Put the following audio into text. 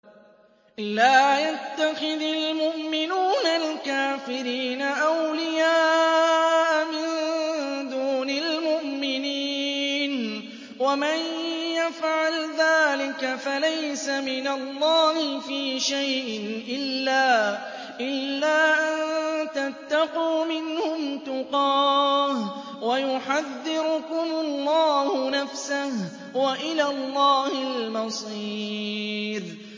لَّا يَتَّخِذِ الْمُؤْمِنُونَ الْكَافِرِينَ أَوْلِيَاءَ مِن دُونِ الْمُؤْمِنِينَ ۖ وَمَن يَفْعَلْ ذَٰلِكَ فَلَيْسَ مِنَ اللَّهِ فِي شَيْءٍ إِلَّا أَن تَتَّقُوا مِنْهُمْ تُقَاةً ۗ وَيُحَذِّرُكُمُ اللَّهُ نَفْسَهُ ۗ وَإِلَى اللَّهِ الْمَصِيرُ